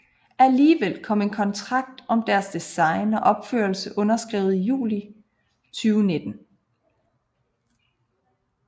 Alligevel blev en kontrakt om deres design og opførelse underskrevet i juli 2019